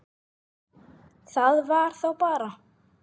Það var þá bara